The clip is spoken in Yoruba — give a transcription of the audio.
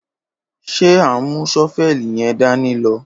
Ṣẹ àhún mú ṣọfẹlí yẹ̀n dàní lọ?